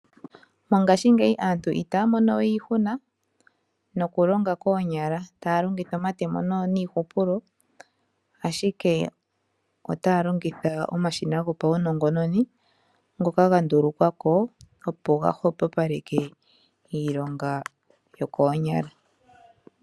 Mongaashingeyi aantu itaya mono we iihuna, noku longa koonyala taya longitha omatemo niihupulo. Ashike otaya longitha omashina go paunongononi ngoka ha ndulukwako opo ga hwepopaleke iilonga yokoonyala.